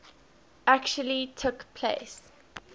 actually took place